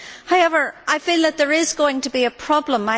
However, I feel that there is going to be a problem.